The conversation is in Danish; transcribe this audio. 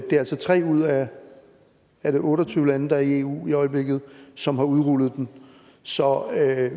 det er altså tre ud af er det otte og tyve lande der er i eu i øjeblikket som har udrullet den så